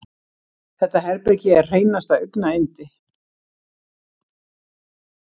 Þetta herbergi er hreinasta augnayndi.